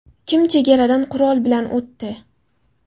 Kim chegaradan qurol bilan o‘tdi?